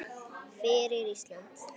Fyrir Ísland!